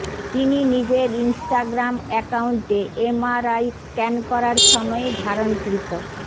তিনি নিজের ইনস্টাগ্রাম অ্যাকাউন্টে এমআরআই স্ক্যান করার সময়ে ধারণকৃত